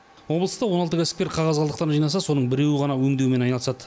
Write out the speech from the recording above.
облыста он алты кәсіпкер қағаз қалдықтарын жинаса соның біреуі ғана өңдеумен айналысады